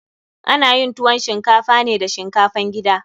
Ana yin tuwon shinkafa ne da shinkafan gida.